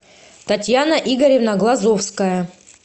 татьяна игоревна глазовская